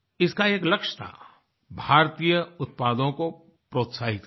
इसका एक लक्ष्य था भारतीय उत्पादों को प्रोत्साहित करना